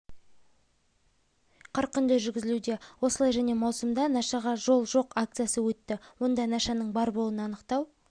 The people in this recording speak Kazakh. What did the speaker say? қарқынды жүргізілуде осылай және маусымда нашаға жол жоқ акциясы өтті онда нашаның бар болуын анықтау